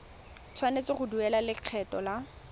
tshwanetse go duela lekgetho la